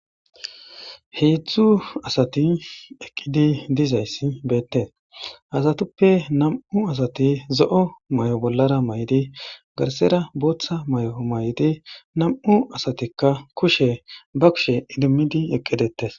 Heedzdzu asati eqqizi dizayssi beetees. Ha asatuppe nam7u asati zo'o mayo bollara mayidi garssara booththa mayo mayidi nam'u asatikka kushe ba kushe idimidi eqqidetees.